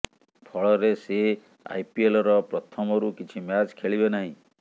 ଫଳରେ ସେ ଆଇପିଏଲର ପ୍ରଥମରୁ କିଛି ମ୍ୟାଚ ଖେଳିବେ ନାହିଁ